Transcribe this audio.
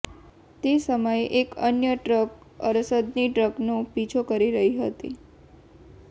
તે સમયે એક અન્ય ટ્રક અરસદની ટ્રકનો પીછો કરી રહી હતી